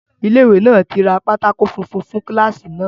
Ilé ìwé náà tí ra pátákó funfun fún kíláàsì náà